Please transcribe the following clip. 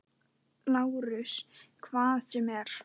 LÁRUS: Hvað sem er.